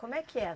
Como é que é?